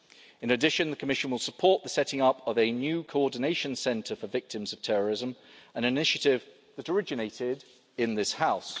In addition, the Commission will support the setting up of a new coordination centre for victims of terrorism, an initiative that originated in this